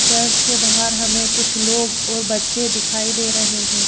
Church के बाहर हमें कुछ लोग और बच्चे दिखाई दे रहे हैं।